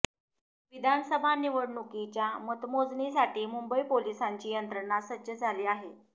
विधानसभा निवणुकीच्या मतमोजणीसाठी मुंबई पोलिसांची यंत्रणा सज्ज झाली आहे